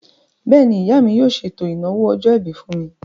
Bẹ́ẹ̀ni, ìyá mi yóò ṣètò ìnáwó ọjọ́-ìbí fún mi